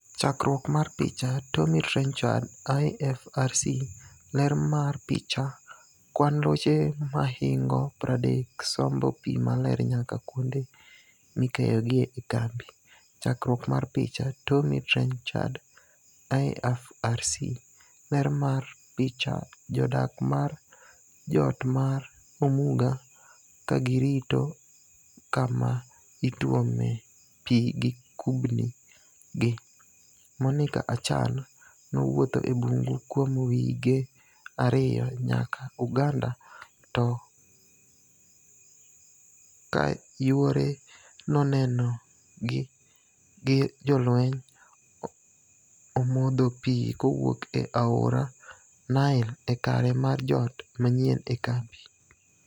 Chakruok mar picha, Tommy Trenchard / IFRC. Ler mar picha, Kwan loche mahingo 30 sombo pii maler nyaka kuonde mikeyogie e kambi. Chakruok mar picha, Tommy Trenchard / IFRC. Ler mar picha, Jodak mar jot mar Omuga kagirito kama ituome pii gi kupni gi. Monica Achan, nowuotho e bungu kuom wige ariyo nyaka Uganda to k kayuore nonegi gi jolweny ,omodho pii kowuok e aora Nile e kare mar jot manyien e kambi.